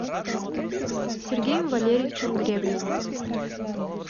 сергеем валерьевичем гребневым